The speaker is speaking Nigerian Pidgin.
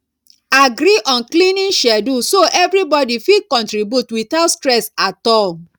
agree on cleaning schedule so everybody fit contribute without stress at all